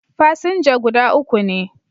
Fasinja guda uku ne